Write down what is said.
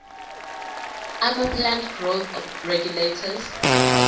amaplant growth regulators